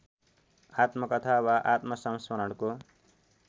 आत्मकथा वा आत्मसंस्मरणको